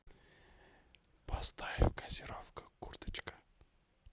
поставь газировка курточка